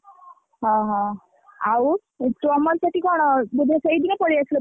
ଓହୋ, ଆଉ ତମର ସେଠି କଣ ବୋଧହୁଏ ସେଇଦିନ ପଳେଇଆସିଲ picnic ରୁ,